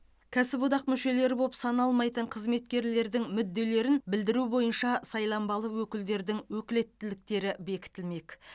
кәсіподақ мүшелері болып саналмайтын қызметкерлердің мүдделерін білдіру бойынша сайланбалы өкілдердің өкілеттіктері бекітілмек